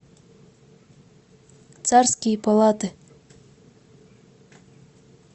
царские палаты